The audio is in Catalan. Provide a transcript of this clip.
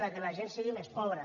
que la gent sigui més pobra